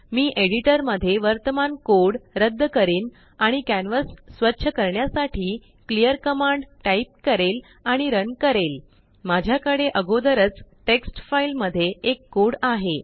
मी एडिटरमध्ये वर्तमान कोड रद्द करीन आणिकॅनवास स्वच्छ करण्यासाठी क्लिअर कमांड टाईप करेल आणि रन करेल माझ्याकडे आगोदरचटेक्स्ट फाईलमध्ये एक कोडआहे